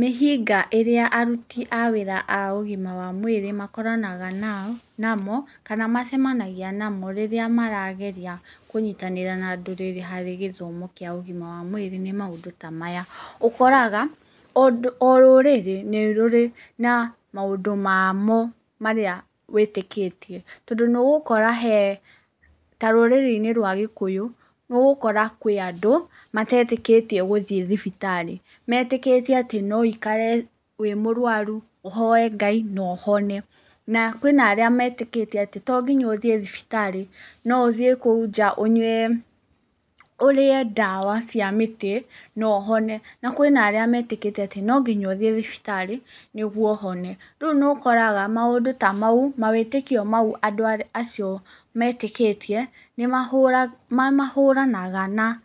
Mĩhĩnga ĩrĩa aruti a wĩra a ũgima wa mwĩrĩ makoranaga namo kana macemanagia namo rĩrĩa marageria kũnyitanĩra na andũ harĩ gĩthomo kĩa ũgima wa mwĩrĩ nĩ maũndũ ta maya; Ũkoraga o rũrĩrĩ nĩ rũrĩ na maũndũ mamo marĩa wĩtĩkĩtie. Tondũ nĩ ũgũkora he ta rũrĩrĩ-inĩ rwa Gĩkũyũ nĩ ũgũkora kwĩ andũ matetĩkĩtie gũthiĩ thibitarĩ. Metĩkĩtie atĩ no ũikare wĩ mũrwaru, ũhoe Ngai na ũhone. Na kwĩna arĩa metĩkĩtie atĩ to nginya ũthiĩ thibitarĩ, no ũthiĩ kũu nja ũnyue ũrĩe ndawa cia mĩtĩ na ũhone. Na kwĩna arĩa metĩkĩtie atĩ no nginya ũthiĩ thibitarĩ nĩguo ũhone. Rĩu nĩ ũkoraga maũndũ ta mau, mawĩtĩkio mau andũ acio metĩkĩtie nĩ mahũranaga na